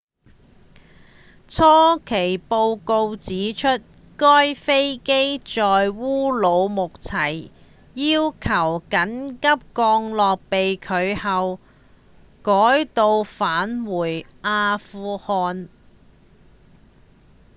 初期報告指出該飛機在烏魯木齊要求緊急降落被拒後改到返回阿富汗